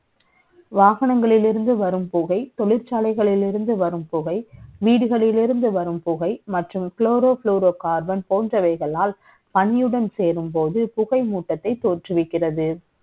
வாகனங்களிலிருந்து வரும் புகை, த ொழிற்சாலை களில் இருந்து வரும் புகை, வடுீ களில் இருந்துவரும் புகை, மற்றும் chloro chloroquarbon ப ோன்றவை களால், கனியுடன் சே ரும்ப ோது, புகை மூட்டத்தை த ோற்றுவிக்கிறது